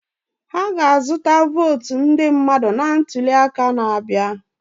Ha ga-azụta votu ndị mmadụ na ntuli aka na-abịa.